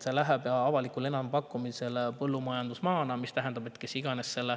See läheb avalikule enampakkumisele põllumajandusmaana, mis tähendab, et kes iganes selle